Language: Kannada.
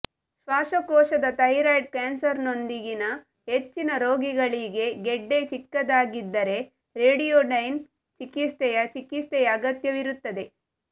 ಶ್ವಾಸಕೋಶದ ಥೈರಾಯ್ಡ್ ಕ್ಯಾನ್ಸರ್ನೊಂದಿಗಿನ ಹೆಚ್ಚಿನ ರೋಗಿಗಳಿಗೆ ಗೆಡ್ಡೆ ಚಿಕ್ಕದಾಗಿದ್ದರೆ ರೇಡಿಯೋಡೈನ್ ಚಿಕಿತ್ಸೆಯ ಚಿಕಿತ್ಸೆಯ ಅಗತ್ಯವಿರುತ್ತದೆ